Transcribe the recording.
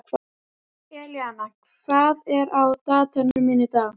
Elíanna, hvað er á dagatalinu mínu í dag?